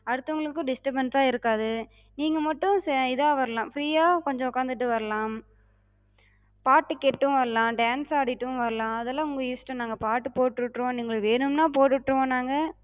அடுத்தவங்களுக்கு disturbance சா இருக்காது. நீங்க மட்டு இதா வரலா, free யாக் கொஞ்சம் உட்காந்துட்டு வரலாம், பாட்டு கேட்டு வரலா, dance ஆடிட்டும் வரலா, அதெல்ல உங்க இஷ்டோ. நாங்க பாட்டு போட்டு விட்ருவோ, நீங்க வேணுனா போட்டு விட்ருவோ நாங்க,